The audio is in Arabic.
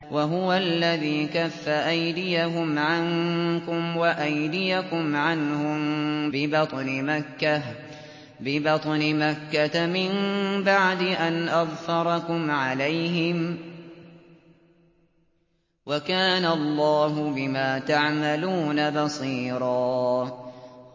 وَهُوَ الَّذِي كَفَّ أَيْدِيَهُمْ عَنكُمْ وَأَيْدِيَكُمْ عَنْهُم بِبَطْنِ مَكَّةَ مِن بَعْدِ أَنْ أَظْفَرَكُمْ عَلَيْهِمْ ۚ وَكَانَ اللَّهُ بِمَا تَعْمَلُونَ بَصِيرًا